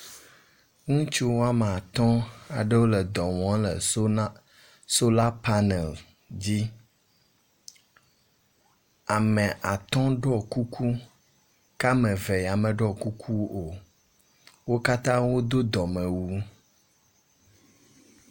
Ŋutsu woame atɔ̃ aɖewo wole edɔ wɔm le sola panel dzi